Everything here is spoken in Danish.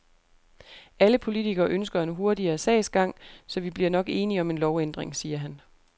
Alle politikere ønsker en hurtigere sagsgang, så vi bliver nok enige om en lovændring, siger han.